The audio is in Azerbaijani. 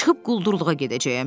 Çıxıb quldurluğa gedəcəyəm.